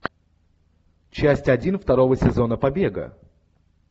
часть один второго сезона побега